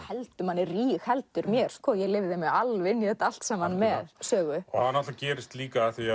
rígheldur mér ég lifði mig alveg inn í þetta allt saman með Sögu það gerist líka af því